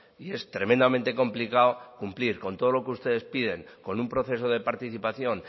y es tremendamente complicado cumplir con todo lo que ustedes piden con un proceso de participación